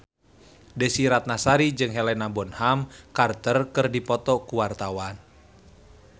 Desy Ratnasari jeung Helena Bonham Carter keur dipoto ku wartawan